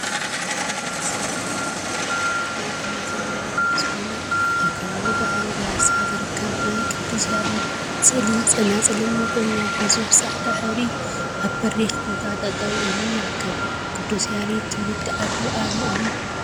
ተፈለጥቲ ሰባት ካብቶም ተፈለጥቲ ናይ ቅኔ ዜማ መምህር ዝኮነ አብ ከባቢ ዳዕሮ ቢያሳ ዝርከብ ናይ ቅዱስ ያሬድ ስእሊ ፀናፅልን መቆምያን ሒዙ ብፃዕዳ ሕብሪ አብ በሪክ ቦታ ጠጠው ኢሉ ይርከብ፡፡ ቅዱስ ያሬድ ትውልዲ ዓዱ አበይ እዩ?